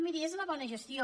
miri és la bona gestió